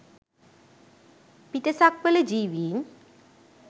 පිටසක්වල ජීවීන්